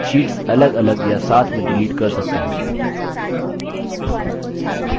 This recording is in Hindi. शीट्स अलगअलग या साथ में डिलीट कर सकते हैं